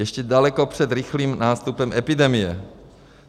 Ještě daleko před rychlým nástupem epidemie.